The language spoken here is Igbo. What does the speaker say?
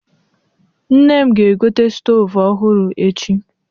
Nne m ga-egote stoovu ọhụrụ echi.